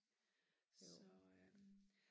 så